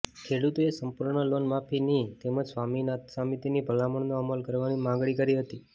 ખેડૂતોએ સંપૂર્ણ લોનમાફીની તેમજ સ્વામીનાથન સમિતિની ભલામણનો અમલ કરવાની માગણી કરી હતી